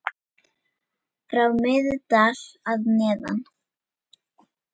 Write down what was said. frá Miðdal að neðan.